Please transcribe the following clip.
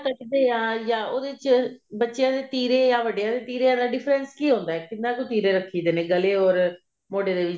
ਕੱਟਦੇ ਆ ਉਹਦੇ ਚ ਬੱਚਿਆਂ ਦੇ ਤਿਰੇ ਜਾਂ ਵੱਡਿਆਂ ਦੇ ਤਿਰੇ ਦਾ difference ਕੀ ਹੁੰਦਾ ਕਿੰਨੇ ਕੁ ਤਿਰੇ ਰੱਖੀ ਦੇ ਨੇ ਗਲੇ ਓਰ ਮੋਢੇ ਦੇ ਵਿੱਚ